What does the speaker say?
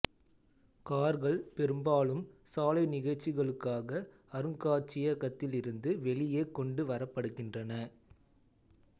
கார்கள் பெரும்பாலும் சாலை நிகழ்ச்சிகளுக்காக அருங்காட்சியகத்திலிருந்து வெளியே கொண்டு வரப்படுகின்றன